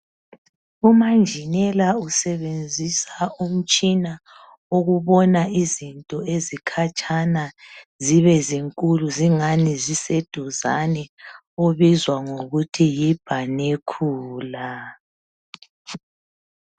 umanjinela usebenzisa umtshina okubona izinto ezikhatshana zibezinkulu zibe engani ziseduzane ubizwa ngokuthi yi binocular